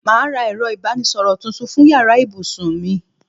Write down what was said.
Màá ra ẹ̀rọ ìbánisọ̀rọ̀ tuntun fún yàrá ibùsùn mi